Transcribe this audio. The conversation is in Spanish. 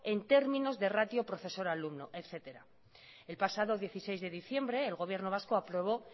en términos de ratio profesor alumno etcétera el pasado dieciséis de diciembre el gobierno vasco aprobó